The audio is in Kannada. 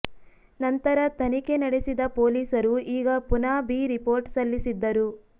ನಂತರ ತನಿಖೆ ನಡೆಸಿದ ಪೊಲೀಸರು ಈಗ ಪುನಃ ಬಿ ರಿಪೋರ್ಟ್ ಸಲ್ಲಿಸಿದ್ದರು